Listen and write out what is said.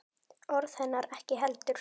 Orð hennar ekki heldur.